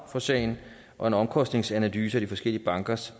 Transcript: for sagen og en omkostningsanalyse af de forskellige bankers